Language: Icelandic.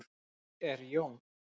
Hver er Jón?